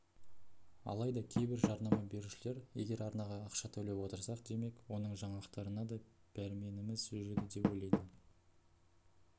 алайда кейбір жарнама берушілер егер арнаға ақша төлеп отырсақ демек оның жаңалықтарына да пәрменіміз жүреді деп ойлайды